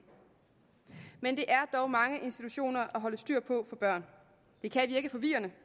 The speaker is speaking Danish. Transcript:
men det er dog mange institutioner at holde styr på for børn det kan virke forvirrende